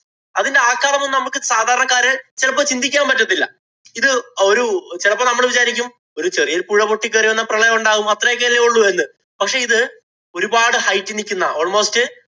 അതിന്‍റെ ആഘാതമൊന്നും നമുക്ക് സാധാരണക്കാര് ചിലപ്പോ ചിന്തിക്കാന്‍ പറ്റത്തില്ല. ഇത് ഒരു ചെലപ്പോ നമ്മള് വിചാരിക്കും ഒരു ചെറിയ ഒരു പുഴ പൊട്ടിക്കേറി വന്നാ പ്രളയം ഒണ്ടാകും. അത്രയൊക്കെ അല്ലേ ഉള്ളൂ എന്ന്. പക്ഷേ ഇത് ഒരുപാട് hight ഇല്‍ നിക്കുന്നതാ. Almost